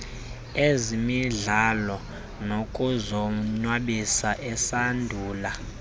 ezemidlalo nokuzonwabisa esandula